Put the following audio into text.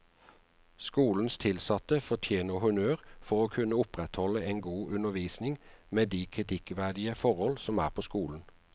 Skolens tilsatte fortjener honnør for å kunne opprettholde en god undervisning med de kritikkverdige forhold som er på skolen.